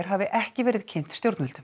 hafi ekki verið kynnt stjórnvöldum